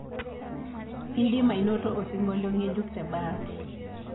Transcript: idim ainoto osiongolio ngejuk te bahati